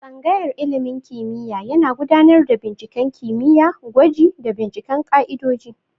Tsangayar ilimin kimiyya yana gudanar da binciken kimiyya, gwaji, da binciken ka'idoji.